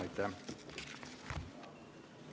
Aitäh!